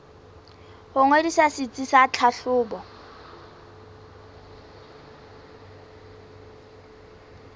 ho ngodisa setsi sa tlhahlobo